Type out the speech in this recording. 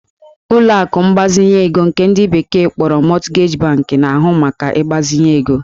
Ụlọ akụ mgbazinye ego nke ndị bekee kpọrọ Mortgage bank na-ahụ maka ịgbazinye ego